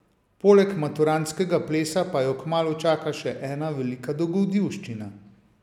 Poleg maturantskega plesa pa jo kmalu čaka še ena velika dogodivščina.